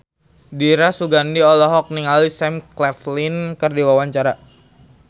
Dira Sugandi olohok ningali Sam Claflin keur diwawancara